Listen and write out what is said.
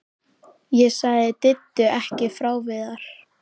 Ég sagði Diddu ekki frá Viðari.